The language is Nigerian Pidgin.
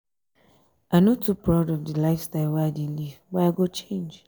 i no too proud of di lifestyle wey i dey live but i go change.